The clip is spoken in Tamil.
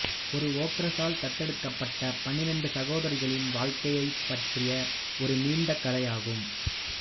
ஒரு ஓக்ரஸ்ஸால் தத்தெடுக்கப்பட்ட பன்னிரண்டு சகோதரிகளின் வாழ்க்கையைப் பற்றிய ஒரு நீண்ட கதையாகும்